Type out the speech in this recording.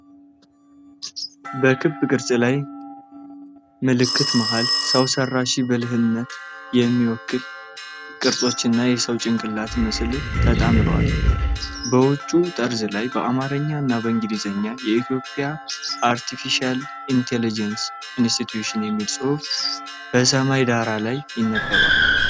በክብ ቅርጽ ባለው ምልክት መሃል፣ ሰው ሰራሽ ብልህነትን የሚወክሉ ቅርጾች እና የሰው ጭንቅላት ምስል ተጣምረዋል። በውጭው ጠርዝ ላይ በአማርኛ እና በእንግሊዝኛ "የኢትዮጵያ አርቴፊሻል ኢንተለጀንስ ኢንስቲትዩት" የሚል ጽሑፍ በሰማያዊ ዳራ ላይ ይነበባል።